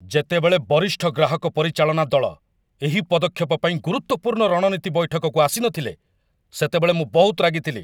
ଯେତେବେଳେ ବରିଷ୍ଠ ଗ୍ରାହକ ପରିଚାଳନା ଦଳ ଏହି ପଦକ୍ଷେପ ପାଇଁ ଗୁରୁତ୍ୱପୂର୍ଣ୍ଣ ରଣନୀତି ବୈଠକକୁ ଆସିନଥିଲେ, ସେତେବେଳେ ମୁଁ ବହୁତ ରାଗିଥିଲି।